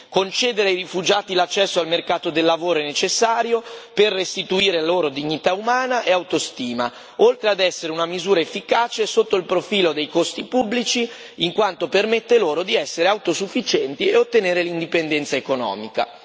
Concedere ai rifugiati l'accesso al mercato del lavoro è necessario per restituire loro dignità umana e autostima, oltre ad essere una misura efficace sotto il profilo dei costi pubblici, in quanto permette loro di essere autosufficienti e ottenere l'indipendenza economica.